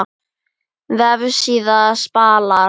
Vefsíða Spalar